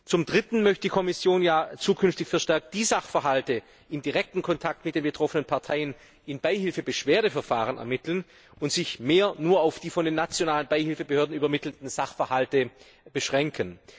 Zum Dritten möchte die Kommission ja zukünftig verstärkt die Sachverhalte in direktem Kontakt mit den betroffenen Parteien in Beihilfebeschwerdeverfahren ermitteln und sich stärker auf die von den nationalen Beihilfebehörden übermittelten Sachverhalte beschränken.